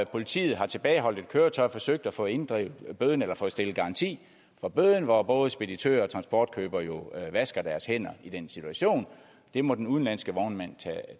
politiet har tilbageholdt et køretøj og har forsøgt at få inddrevet bøden eller få stillet garanti for bøden og hvor både speditører og transportkøbere vasker deres hænder i den situation det må den udenlandske vognmand